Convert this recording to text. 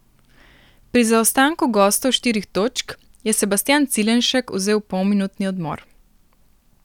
Pri zaostanku gostov štirih točk je Sebastjan Cilenšek vzel polminutni odmor.